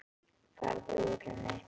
Farðu úr henni.